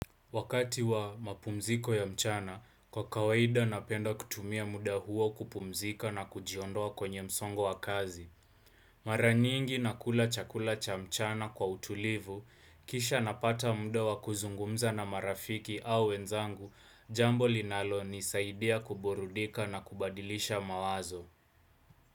Wakati wa mapumziko ya mchana, kwa kawaida napenda kutumia muda huo kupumzika na kujiondoa kwenye msongo wa kazi. Mara nyingi nakula chakula cha mchana kwa utulivu, kisha napata muda wa kuzungumza na marafiki au wenzangu, jambo linalonisaidia kuburudika na kubadilisha mawazo.